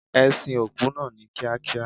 E sin òkú naa ni Kia kia